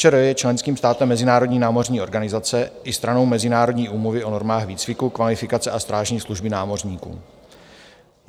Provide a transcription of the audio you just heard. ČR je členským státem Mezinárodní námořní organizace i stranou Mezinárodní úmluvy o normách výcviku, kvalifikace a strážní služby námořníků.